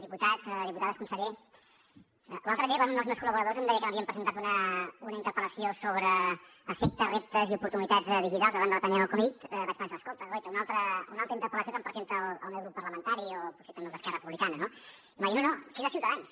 diputat diputades conseller l’altre dia quan un dels meus col·laboradors em deia que m’havien presentat una interpel·lació sobre efectes reptes i oportunitats digitals davant de la pandèmia de la covid vaig pensar escolta guaita una altra interpel·lació que em presenta el meu grup parlamentari o potser també el d’esquerra republicana no i em va dir no no que és de ciutadans